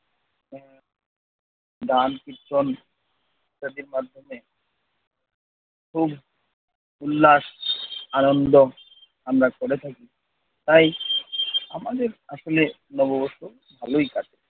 ধ্যান কীর্তন ইত্যদির মাধ্যমে খুব উল্লাস আনন্দ আমরা করে থাকি। তাই আমাদের আসলে নববর্ষ ভালই কাটে।